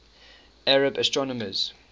arab astronomers